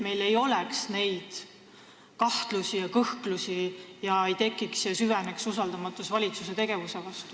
Meil ei peaks olema kahtlusi ja kõhklusi ega tohiks tekkida ja süveneda usaldamatus valitsuse tegevuse vastu.